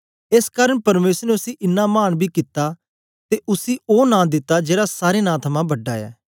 एस कारन परमेसर ने उसी इन्ना मान बी कित्ता ते उसी ओ नां दिता जेड़ा सारें नां थमां बड़ा ऐ